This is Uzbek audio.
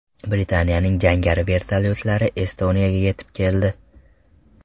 Britaniyaning jangari vertolyotlari Estoniyaga yetib keldi.